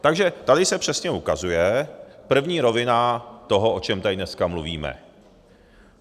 Takže tady se přesně ukazuje první rovina toho, o čem tady dneska mluvíme.